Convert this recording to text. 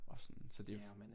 Og sådan så det